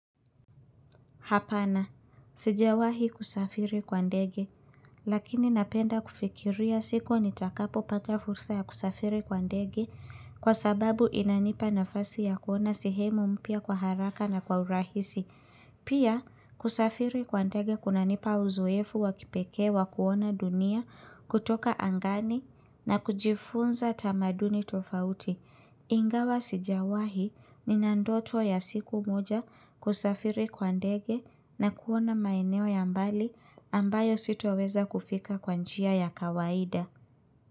Hapana, sijawahi kusafiri kwa ndege, lakini napenda kufikiria siku nitakapopata fursa ya kusafiri kwa ndege kwa sababu inanipa nafasi ya kuona sehemu mpya kwa haraka na kwa urahisi. Pia, kusafiri kwa ndege kunanipa uzoefu wa kipekee wa kuona dunia kutoka angani na kujifunza tamaduni tofauti. Ingawa sijawahi nina ndoto ya siku moja kusafiri kwa ndege na kuona maeneo ya mbali ambayo sitoweza kufika kwa njia ya kawaida.